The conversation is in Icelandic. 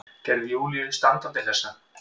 Gerði Júlíu standandi hlessa.